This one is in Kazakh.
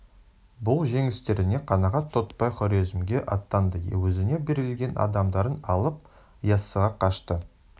бұл жеңістеріне қанағат тұтпай хорезмге аттанды өзіне берілген адамдарын алып яссыға қашты